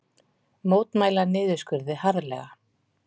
Mótmæla niðurskurði harðlega